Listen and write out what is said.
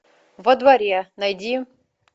во дворе найди